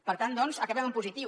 per tant doncs acabem en positiu